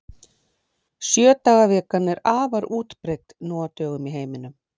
Sjö daga vikan er afar útbreidd nú á dögum í heiminum.